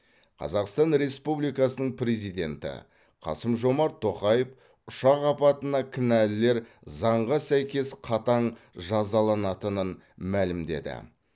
қазақстан республикасының президенті қасым жомарт тоқаев ұшақ апатына кінәлілер заңға сәйкес қатаң жазаланатынын мәлімдеді